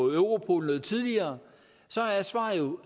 europol noget tidligere jo